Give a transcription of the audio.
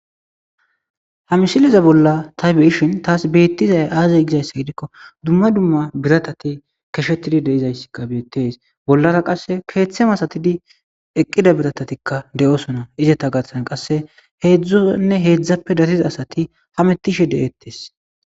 Ha misileza bolla ta be'ishn tas betizay aze gizaysa gidikon dumma dumma biratat keshetid de'iyayska betes. Bolara qase kethe masatid eqida biratatika de'osona izeta garsan qase hezdunne hezdappe dariya asat hamutishe de'etes.